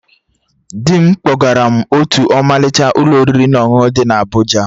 Dị m kpọgara m otú ọmalịcha Ụlọ oriri na ọṅụṅụ dị na Abụja